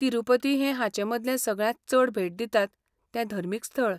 तिरूपती हें हांचेमदलें सगळ्यांत चड भेट दितात तें धर्मीक स्थळ.